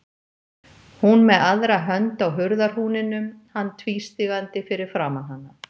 Hún með aðra hönd á hurðarhúninum, hann tvístígandi fyrir framan hana.